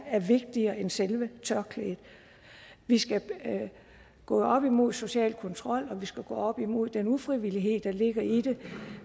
er vigtigere end selve tørklædet vi skal gå op imod social kontrol og vi skal gå op imod den ufrivillighed der ligger i det